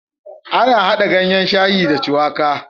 Ana hada ganyan shayi da shuwaka